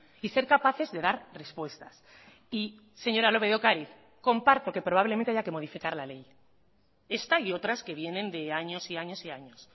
y ser capaces de dar respuestas y señora lópez de ocariz comparto que probablemente haya que modificar la ley esta y otras que vienen de años y años y años